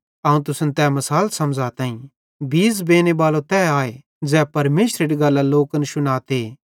अवं तुसन तै मिसाल समझ़ताईं बीज़ बेनेबालो तै आए ज़ै परमेशरेरी गल्लां लोकन शुनाते